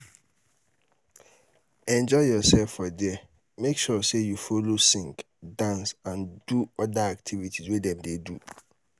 enjoy yourself for there make sure say you follow sing dance and do other activities wey dem de do